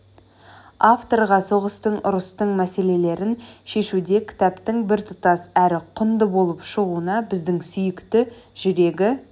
авторға соғыстың ұрыстың мәселелерін шешуде кітаптың біртұтас әрі құнды болып шығуына біздің сүйікті жүрегі